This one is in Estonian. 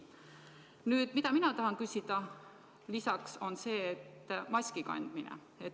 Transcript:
Mille kohta mina tahan lisaks küsida, on maski kandmine.